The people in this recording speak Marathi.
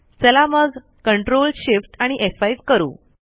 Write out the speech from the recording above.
चला मग ctrlshiftf5 करू